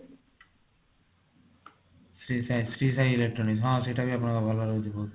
Shri Sai Shri Sai electronic ହଁ ସେଇଟା ବି ଆପଣଙ୍କର ବହୁତ ଭଲ ରହୁଛି ବହୁତ